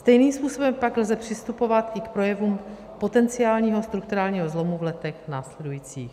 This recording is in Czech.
Stejným způsobem pak lze přistupovat i k projevům potenciálního strukturálního zlomu v letech následujících.